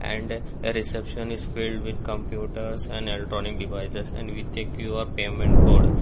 and a reception is filled with computers and electronic devices and with a Q_R payment code.